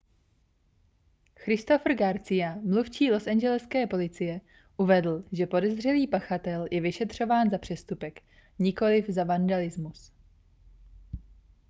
christopher garcia mluvčí losangeleské policie uvedl že podezřelý pachatel je vyšetřován za přestupek nikoliv za vandalismus